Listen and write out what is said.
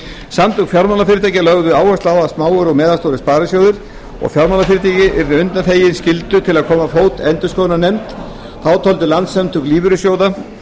samtök fjármálafyrirtækja lögðu áherslu á að smáir og meðalstórir sparisjóðir og fjármálafyrirtæki yrðu undanþegin skyldu til að koma á fót endurskoðunarnefnd þá töldu landssamtök lífeyrissjóða